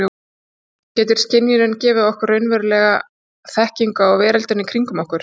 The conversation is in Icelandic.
Getur skynjunin gefið okkur raunverulega þekkingu á veröldinni kringum okkur?